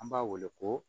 An b'a wele ko